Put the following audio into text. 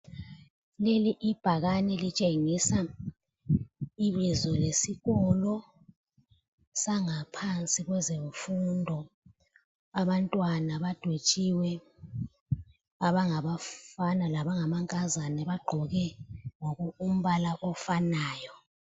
Leli ibhakani litshengisa ibizo lesikolo sangaphansi kwezemfundo. Abantwana badwetshiwe abangabafana labanga mankazana bagqoke umbala ofanayo.